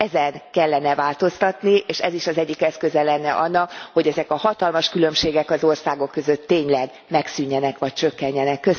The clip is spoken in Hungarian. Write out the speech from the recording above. Ezen kellene változtatni és ez is az egyik eszköze lenne annak, hogy ezek a hatalmas különbségek az országok között tényleg megszűnjenek vagy csökkenjenek.